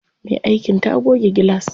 Me aikin ta goge gilas.